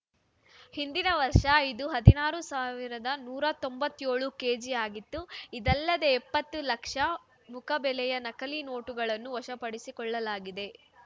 ಹಿಂದಿನ ವರ್ಷ ಇದು ಹದಿನಾರು ಸಾವಿರದ ನೂರ ತೊಂಬತ್ಯೋಳು ಕೆಜಿ ಆಗಿತ್ತು ಇದಲ್ಲದೆ ಎಪ್ಪತ್ತು ಲಕ್ಷ ರುಮುಖಬೆಲೆಯ ನಕಲಿ ನೋಟುಗಳನ್ನು ವಶಪಡಿಸಿಕೊಳ್ಳಲಾಗಿದೆ